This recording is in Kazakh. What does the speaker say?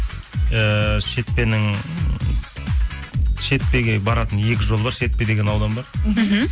ііі шетпенің шетпеге баратын екі жол бар шетпе деген аудан бар мхм